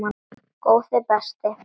Góði besti.!